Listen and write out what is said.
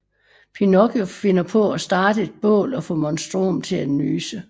Pinocchio finder på at starte et bål og få Monstrom til at nyse